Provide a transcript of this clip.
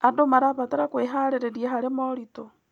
Andũ marabatara kwĩharĩrĩria harĩ moritũ.